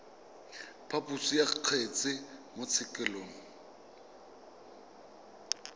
phaposo ya kgetse mo tshekong